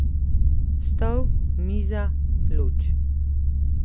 Stol, miza, luč.